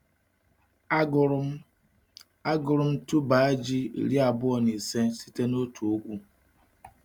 Agụrụ m Agụrụ m tuber ji iri abụọ na ise site n’otu ugwu.